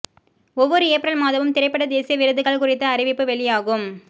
ஒவ்வொரு ஏப்ரல் மாதமும் திரைப்பட தேசிய விருதுகள் குறித்த அறிவிப்பு வெளியாகும்